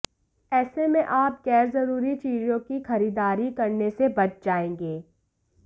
ऐसे में आप गैरजरूरी चीजों की खरीदारी करने से बच जाएंगी